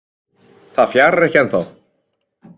Það fjarar ekki ennþá